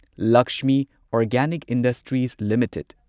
Lakshmi Organic Industries limited